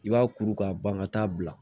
I b'a kuru k'a ban ka taa bila